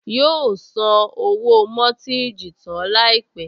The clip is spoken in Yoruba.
Yóò san owó mọ́tíìjì tán láìpẹ́